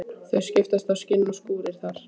Það skiptast á skin og skúrir þar.